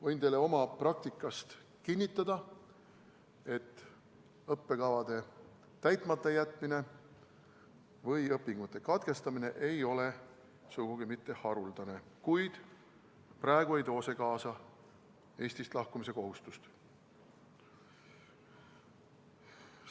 Võin teile oma praktikast kinnitada, et õppekavade täitmata jätmine või õpingute katkestamine ei ole sugugi mitte haruldane, kuid praegu ei too see kaasa Eestist lahkumise kohustust.